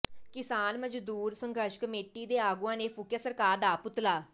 ਕਿਸਾਨ ਮਜ਼ਦੂਰ ਸੰਘਰਸ਼ ਕਮੇਟੀ ਦੇ ਆਗੂਆਂ ਨੇ ਫੂਕਿਆ ਸਰਕਾਰ ਦਾ ਪੁਤਲਾ